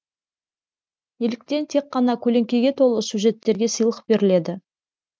неліктен тек қана көлеңкеге толы сюжеттерге сыйлық беріледі